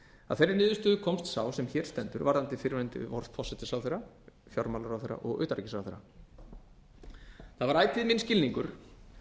að þeirri niðurstöðu komst sá er hér stendur varðandi fyrrverandi forsætisráðherra fjármálaráðherra og utanríkisráðherra það var ætíð minn skilningur